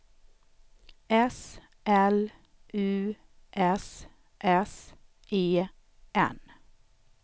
S L U S S E N